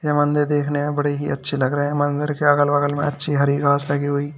यह मंदिर देखने में बड़े ही अच्छे लग रहे हैं। मंदिर के अगल-बगल में अच्छी हरी घास लगी हुई --